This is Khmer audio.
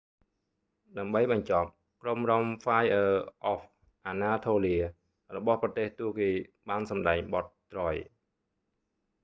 ដើម្បីបញ្ចប់ ក្រុមរាំហ្វាយអឺ អហ្វ អាណាថូលៀ fire of anatolia របស់ប្រទេសទួរគីបានសម្ដែងបទ troy